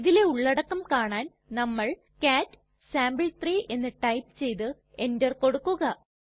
ഇതിലെ ഉള്ളടക്കം കാണാൻ നമ്മൾ കാട്ട് സാംപിൾ3 എന്ന് ടൈപ്പ് ചെയ്തു എന്റർ കൊടുക്കുക